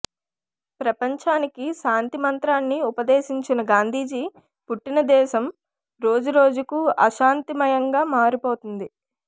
ప్రపంచానికి శాంతి మంత్రాన్ని ఉపదేశించిన గాంధీజీ పుట్టిన దేశం రోజురోజు కూ అశాంతి మాయం గా మారిపోతోంది